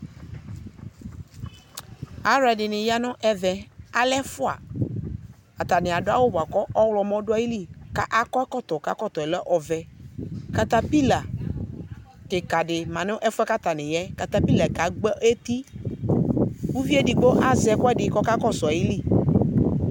Alʋɛdɩnɩ ya nʋ ɛvɛ, alɛ ɛfʋa, atanɩ adʋ awʋ bʋa kʋ ɔɣlɔmɔ dʋayili; ka akɔ ɛkɔtɔ k'ɛkɔtɔɛ lɛ ɔvɛ Katapɩla kɩkadɩ ma n'ɛfʋɛ k'atanɩ yaɛ katapɩlaɛ kagbọ eti, uviedigbo azɛ